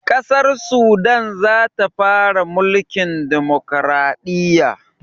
Ƙasar sudan zata fara mulkin dimukuraɗiyya